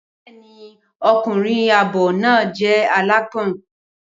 Bẹẹni, ọkùnrin àábò náà jẹ alãpọn.